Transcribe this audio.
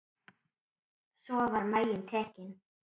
Svo var maginn tekinn.